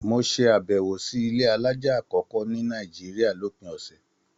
Mo ṣe abẹwo sí ilé alájá akọkọ ní Nàìjíríà lópin ọsẹ.